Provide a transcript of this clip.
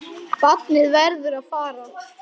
Barnið verður að fara.